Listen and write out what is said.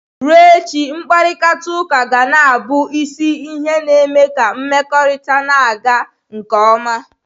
Ruo echi, mkparịta uka ga na-abụ isi ihe na-eme ka mmekọrịta na-aga nke ọma.